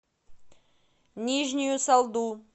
нижнюю салду